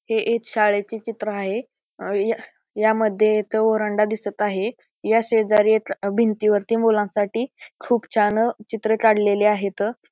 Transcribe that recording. हे एक शाळेचे चित्र आहे ह्या ह्यामध्ये इथ ओरंडा दिसत आहे ह्या शेजारी भिंती वरती मुलांनसाठी खुप छान चित्र काढलेली आहेत.